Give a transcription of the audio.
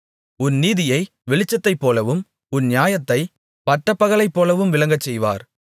உன் நீதியை வெளிச்சத்தைப் போலவும் உன் நியாயத்தைப் பட்டப்பகலைப்போலவும் விளங்கச்செய்வார்